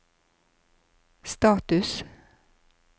status